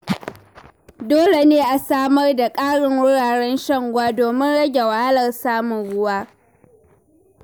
Dole ne a samar da ƙarin wuraren shan ruwa domin rage wahalar samun ruwa.